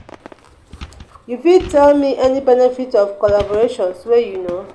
you fit tell me any benefits of collaboration wey you know?